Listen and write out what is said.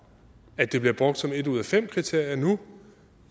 at det bliver brugt som et ud af fem kriterier nu